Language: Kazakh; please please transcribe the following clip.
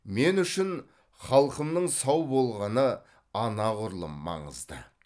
мен үшін халқымның сау болғаны анағұрлым маңызды